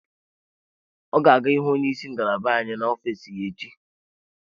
O ga-aga ịhụ onye isi ngalaba anyị n'ofiis ya echi.